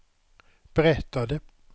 berättade